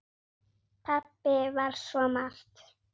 Pabbi var svo margt.